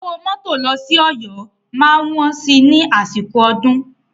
Owó mọ́tò lọ sí Ọ̀yọ́ máa wọ́n ní àsìkò ọdún.